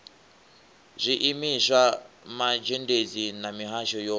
zwiimiswa mazhendedzi na mihasho yo